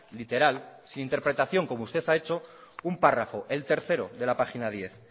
sin interpretación como usted ha hecho un párrafo el tercero de la página diez